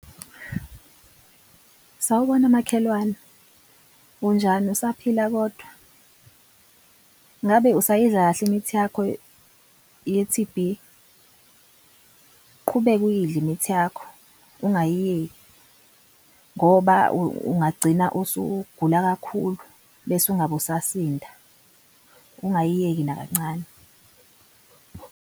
Sawubona makhelwane. Unjani usaphila kodwa? Ngabe usayidla kahle imithi yakho ye-T_B? Uqhubeke uyidle imithi yakho ungayiyeki, ngoba ungagcina usugula kakhulu bese ungabusasinda. Ungayiyeki nakancane.